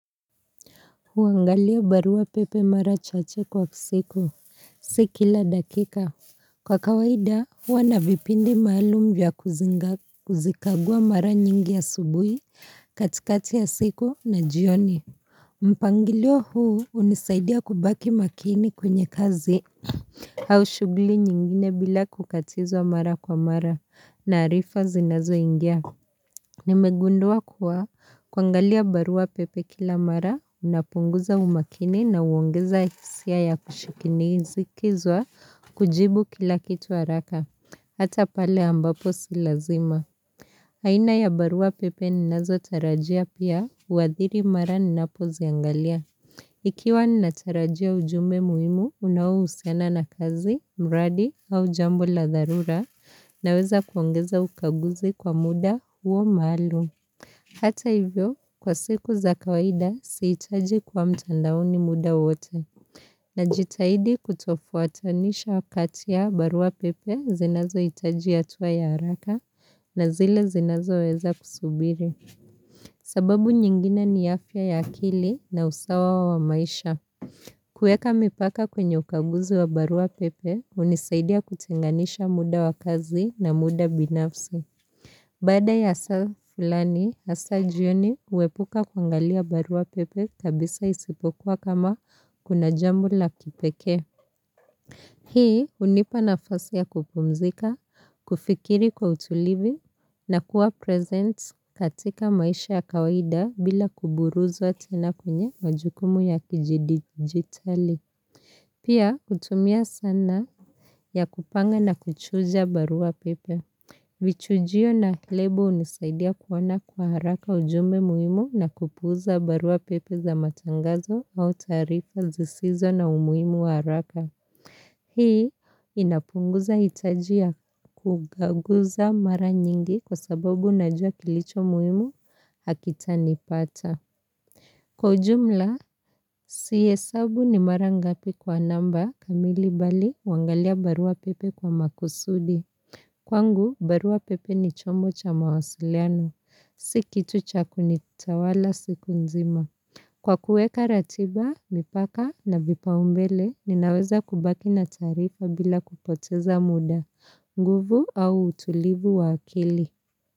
Huangalia barua pepe mara chache kwa siku Si kila dakika Kwa kawaida huwa na vipindi maalum vya kuzikagua mara nyingi ya asubuhi katikati ya siku na jioni mpangilio huu hunisaidia kubaki makini kwenye kazi Haushubili nyingine bila kukatizwa mara kwa mara na arifa zinazoingia Nimegundua kuwa kuangalia barua pepe kila mara unapunguza umakini na uongeza hisia ya kushikini zikizwa kujibu kila kitu haraka. Hata pale ambapo si lazima. Aina ya barua pepe ninazotarajia pia wadhiri mara ninapoziangalia. Ikiwa ni natarajia ujumbe muhimu, unaohusiana na kazi, mradi au jambo la dharura naweza kuongeza ukaguzi kwa muda huo maalum. Hata hivyo, kwa siku za kawaida, sihitaji kuwa mtandaoni muda wote. Najitaidi kutofuatanisha wakati ya barua pepe zinazohitaji hatua ya haraka na zile zinazoweza kusubiri. Sababu nyingine ni afya ya akili na usawa wa maisha kueka mipaka kwenye ukaguzi wa barua pepe hunisaidia kutenganisha muda wa kazi na muda binafsi Baada ya saa fulani, hasa jioni huepuka kuangalia barua pepe kabisa isipokuwa kama kuna jambo la kipekee Hii unipa nafasi ya kupumzika, kufikiri kwa utulivi na kuwa present katika maisha ya kawaida bila kuburuza tena kwenye majukumu ya kijidigitali. Pia kutumia sana ya kupanga na kuchunja barua pepe. Vichujio na lebo hunisaidia kuona kwa haraka ujumbe muhimu na kupuuza barua pepe za matangazo au tarifa zisizo na umuhimu wa haraka. Hii inapunguza hitajia kukaguza mara nyingi kwa sababu najua kilicho muhimu hakitanipata. Kwa ujumla, sihesabu ni mara ngapi kwa namba kamili bali huangalia barua pepe kwa makusudi. Kwangu, barua pepe ni chombo cha mawasiliano. Si kitu cha kunitawala siku nzima. Kwa kueka ratiba, mipaka na vipaumbele, ninaweza kubaki na taarifa bila kupoteza muda, nguvu au utulivu wa akili.